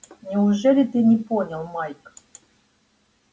неужели ты не понял майк